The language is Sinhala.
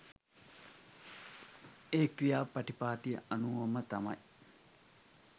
ඒ ක්‍රියා පටිපාටිය අනුවම තමයි.